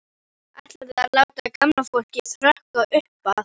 Ætlarðu að láta gamla fólkið hrökkva upp af?